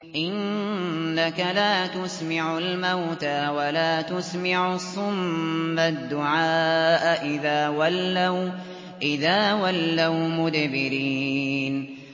إِنَّكَ لَا تُسْمِعُ الْمَوْتَىٰ وَلَا تُسْمِعُ الصُّمَّ الدُّعَاءَ إِذَا وَلَّوْا مُدْبِرِينَ